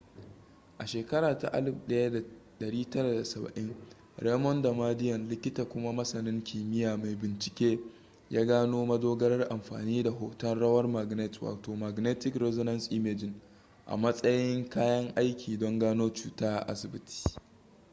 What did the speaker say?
a shekara ta 1970 raymond damadian likita kuma masanin kimiyya mai bincike ya gano madogarar amfani da hton rawar magnet wato magnetic resonance imaging a matsayin kayan aiki don gano cuta a asibiti